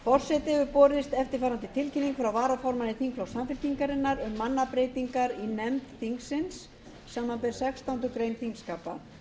forseta hefur borist eftirfarandi tilkynning frá varaformanni þingflokks samfylkingarinnar um mannabreytingar í nefnd þingsins samanber sextándu grein þingskapa